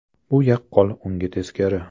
Bu yaqqol unga teskari.